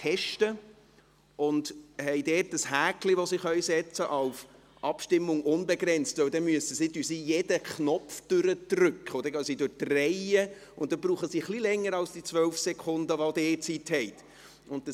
Bei «Abstimmung unbegrenzt» können sie ein Häkchen setzen, denn sie gehen jeweils durch die Reihen und drücken jeden Knopf, und dafür brauchen sie etwas länger als die 12 Sekunden, die Sie zur Verfügung haben.